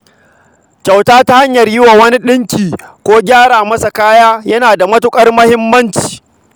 Kyauta ta hanyar yi wa wani ɗinki ko gyara masa kaya tana da matuƙar amfani.